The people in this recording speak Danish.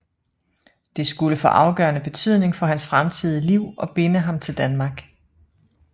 Det skulle få afgørende betydning for hans fremtidige liv og binde ham til Danmark